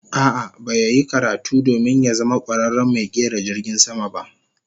A'a, ba ya yi karatu domin ya zama kwararen mai kera jirgin sama ba